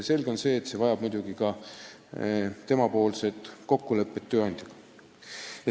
Selge on see, et tal on muidugi vaja ka kokkulepet tööandjaga.